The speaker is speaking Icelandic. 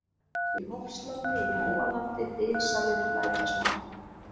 Í Hofslandi, Í Móalandi, Dynsalir, Lækjasmári